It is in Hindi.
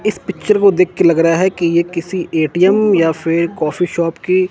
इस पिक्चर को देख के लग रहा है कि ये किसी ए_टी_एम या फिर कॉफ़ी शॉप की--